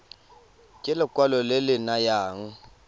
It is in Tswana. ke lekwalo le le nayang